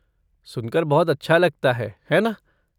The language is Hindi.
सुनकर बहुत अच्छा लगता है, है ना?